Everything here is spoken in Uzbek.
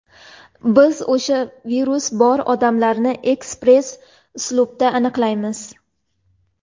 biz o‘sha virus bor odamlarni ekspress uslubda aniqlaymiz.